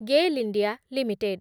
Gayle India limited